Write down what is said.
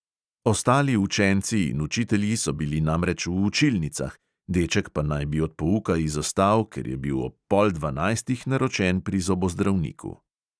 Ostali učenci in učitelji so bili namreč v učilnicah, deček pa naj bi od pouka izostal, ker je bil ob pol dvanajstih naročen pri zobozdravniku.